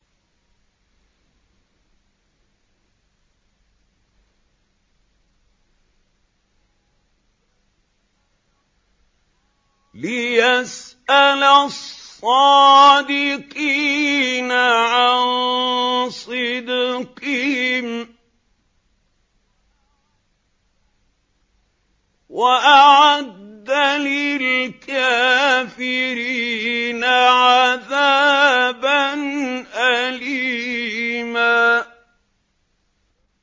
لِّيَسْأَلَ الصَّادِقِينَ عَن صِدْقِهِمْ ۚ وَأَعَدَّ لِلْكَافِرِينَ عَذَابًا أَلِيمًا